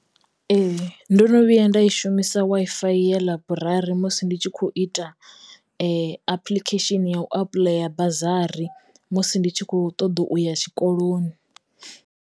Ee ndo no vhuya nda i shumisa Wi-Fi ya ḽaiburari musi ndi tshi kho ita apuḽikhesheni ya u apuḽaya bazari musi ndi tshi kho ṱoḓa uya tshikoloni.